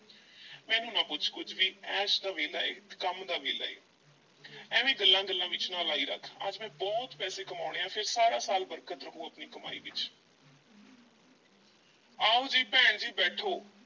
ਮੈਨੂੰ ਨਾ ਪੁੱਛ ਕੁਝ ਵੀ ਐਸ ਦਾ ਵੇਲੇ ਹੈ ਕੰਮ ਦਾ ਵੇਲਾ ਹੈ ਐਵੇਂ ਗੱਲਾਂ ਵਿੱਚ ਨਾ ਲਾਈ ਰੱਖ, ਅੱਜ ਮੈਂ ਬਹੁਤ ਪੈਸੇ ਕਮਾਉਣੇ ਐਂ ਫੇਰ ਸਾਰਾ ਸਾਲ ਬਰਕਤ ਰਹੂ ਆਪਣੀ ਕਮਾਈ ਵਿੱਚ ਆਓ ਜੀ ਭੈਣ ਜੀ ਬੈਠੋ।